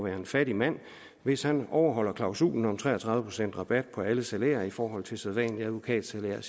en fattig mand hvis han overholder klausulen om tre og tredive procent rabat på alle salærer i forhold til sædvanligt advokatsalær